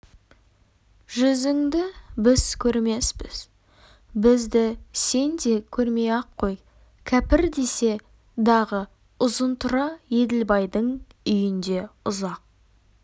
жүзіңді біз көрмеспіз бізді сен де көрмей-ақ қой кәпір десе дағы ұзынтұра еділбайдың үйінде ұзақ